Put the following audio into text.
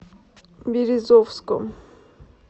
березовском